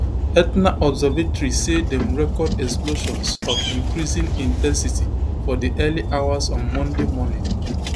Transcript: etna observatory say dem record explosions of increasing in ten sity for di early hours on monday morning